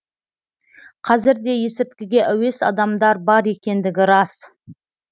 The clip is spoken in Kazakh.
қазір де есірткіге әуес адамдар бар екендігі рас